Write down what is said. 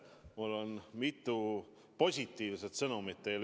Mul on mitu positiivset sõnumit teile.